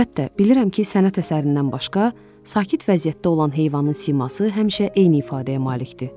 Əlbəttə, bilirəm ki, sənət əsərindən başqa, sakit vəziyyətdə olan heyvanın siması həmişə eyni ifadəyə malikdir.